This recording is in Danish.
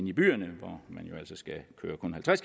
i byerne hvor man